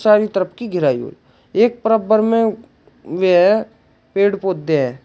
गिराई हुई एक बराबर में वेह पेड़ पौधे हैं।